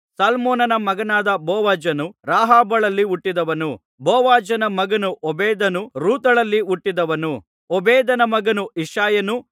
ಸಲ್ಮೋನನ ಮಗನಾದ ಬೋವಜನು ರಾಹಾಬಳಲ್ಲಿ ಹುಟ್ಟಿದವನು ಬೋವಜನ ಮಗನು ಓಬೇದನು ರೂತಳಲ್ಲಿ ಹುಟ್ಟಿದವನು ಓಬೇದನ ಮಗನು ಇಷಯನು